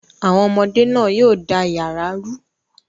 Àwọn ọmọdé náà yóò dá yàrá rú.